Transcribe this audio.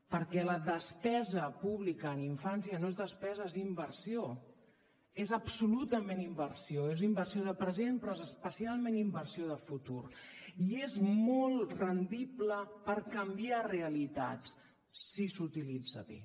perquè la despesa pública en infància no és despesa és inversió és absolutament inversió és inversió de present però és especialment inversió de futur i és molt rendible per canviar realitats si s’utilitza bé